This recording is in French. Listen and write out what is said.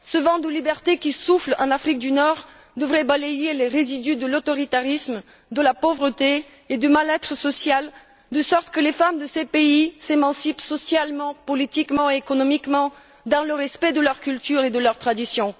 Ce vent de liberté qui souffle en Afrique du Nord devrait balayer les résidus de l'autoritarisme, de la pauvreté et du mal être social, de sorte que les femmes de ces pays s'émancipent socialement, politiquement et économiquement dans le respect de leur culture et de leurs traditions.